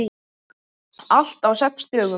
Allt á sex dögum.